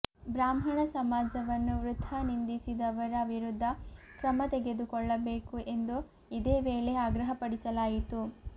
ಬ್ರಾಹ್ಮಣ ಸಮಾಜವನ್ನು ವೃಥಾ ನಿಂದಿಸಿದವರ ವಿರುದ್ಧ ಕ್ರಮ ತೆಗೆದುಕೊಳ್ಳಬೇಕು ಎಂದು ಇದೇ ವೇಳೆ ಆಗ್ರಹ ಪಡಿಸಲಾಯಿತು